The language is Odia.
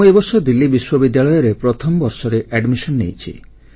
ମୁଁ ଏ ବର୍ଷ ଦିଲ୍ଲୀ ବିଶ୍ୱବିଦ୍ୟାଳୟରେ ପ୍ରଥମ ବର୍ଷରେ ନାମ ଲେଖାଇଛି